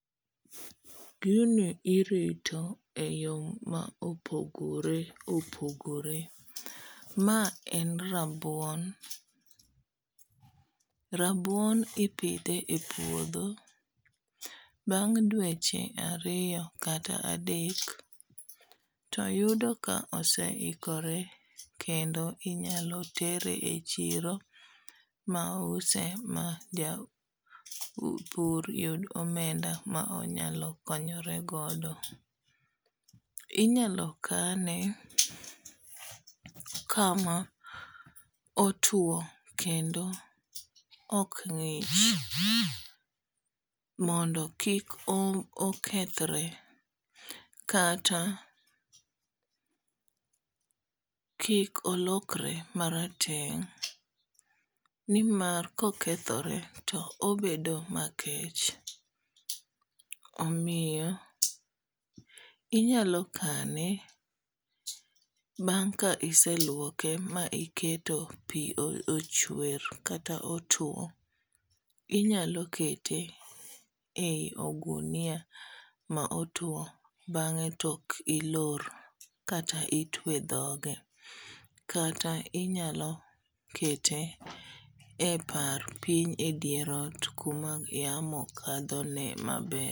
Gini irito e yo ma opogore opogore. Ma en rabuon. Rabuon ipidhe e puodho, bang' dweche ariyo kata adek, to yudo ka oseikore. Kendo inyalo tere e chiro ma use ma ja pur yud omenda ma onyalo konyore godo. Inyalo kane kama otwo kendo ok ng'ich. Mondo kik okethore. Kata kik olokore marateng'. Ni mar kokethore to obedo makech. Omiyo inyalo kane bang' ka iselwoke ma iketo pi ochwer kata otwo. Inyalo kete e ogunia ma otwo. Bang'e to iloro kata itwe dhoge. Kata inyalo kete e par, piny e dier ot kuma yamo kadho ne maber.